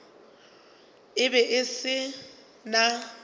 e be e se na